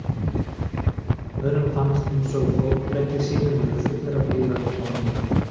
Öðrum fannst eins og fótleggir sínir væru fullir af iðandi ormum.